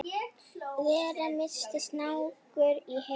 vera minnsti snákur í heimi